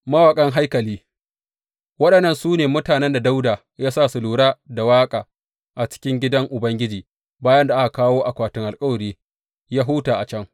Mawaƙan haikali Waɗannan su ne mutanen da Dawuda ya sa su lura da waƙa a cikin gidan Ubangiji bayan da aka kawo akwatin alkawari yă huta a can.